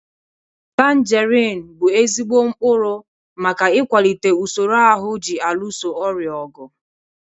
Tanjerin bụ ezigbo mkpụrụ maka ịkwalite usoro ahụ ji alụso ọrịa ọgụ.